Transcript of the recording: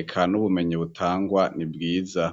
eka n'ubumenyi butangwa ni bwiza.